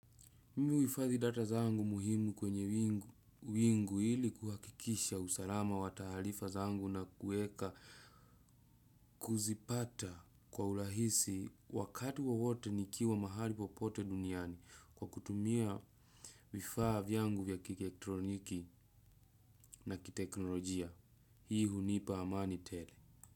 Mimi huhifahi data zangu muhimu kwenye wingu ili kuhakikisha usalama wa tahalifa zangu na kueka kuzipata kwa urahisi wakati wowote nikiwa mahali popote duniani kwa kutumia vifaa vyangu vya kierectroniki na kitekhnologia. Hii hunipa amani tele.